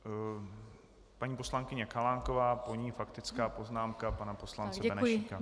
Paní poslankyně Chalánková, po ní faktická poznámka pan poslance Benešíka.